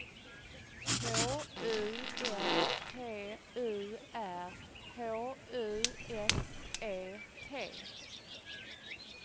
K U L T U R H U S E T